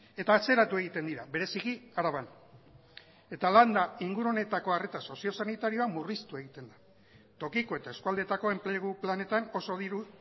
eta atzeratu egiten dira bereziki araban eta landa inguru honetako arreta sozio sanitarioa murriztu egiten da tokiko eta eskualdeetako enplegu planetan oso diru